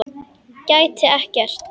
Gæti ekkert.